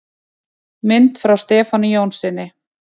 Mynd frá Stefáni Jónssyni.